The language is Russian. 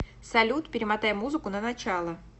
салют перемотай музыку на начало